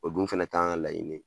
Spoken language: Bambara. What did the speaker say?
O dun fɛnɛ t'an ka laɲini ye.